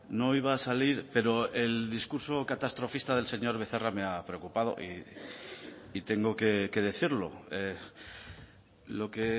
no iba a salir pero el discurso catastrofista del señor becerra me ha preocupado y tengo que decirlo lo que